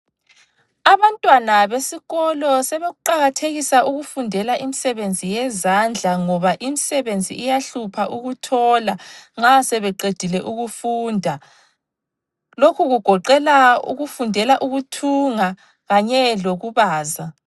Abantwanabesikolo sebekuqakathekisa ukufundela imisebenzi yezandla ngoba imisebenzi iyahlupha ukuthola nxa sebeqedile ukufunda. Lokhu kugoqela ukufundela ukuthunga kanye lokubaza.